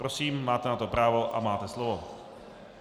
Prosím, máte na to právo a máte slovo.